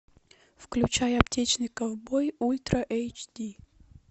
включай аптечный ковбой ультра эйч ди